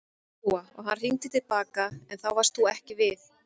Lóa: Og hann hringdi til baka en þá varst þú ekki við?